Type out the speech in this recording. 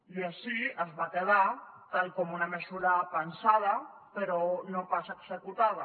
i així es va quedar tal com una mesura pensada però no pas executada